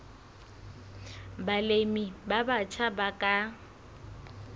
balemi ba batjha ba ka